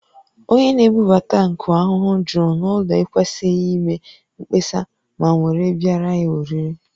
Onye na-ebubata nkụ ahụhụ juru n’ụlọ ekwesịghị ime mkpesa ma ngwere biara ya oriri